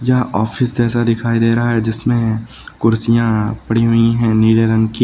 यहां ऑफिस जैसा दिखाई दे रहा है जिसमें कुर्सियां पड़ी हुई हैं नीले रंग की।